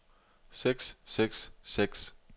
seks seks seks